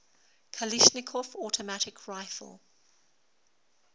kalashnikov automatic rifle